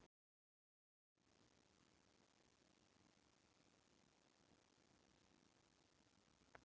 Utan um